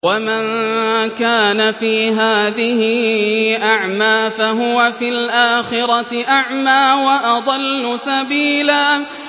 وَمَن كَانَ فِي هَٰذِهِ أَعْمَىٰ فَهُوَ فِي الْآخِرَةِ أَعْمَىٰ وَأَضَلُّ سَبِيلًا